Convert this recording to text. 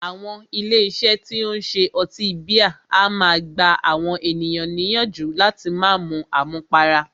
Àwọn ilé iṣé tí o ń ṣe ọtí bíà a máà gbà àwọn ènìyàn níyànjú láti má mú àmúpará.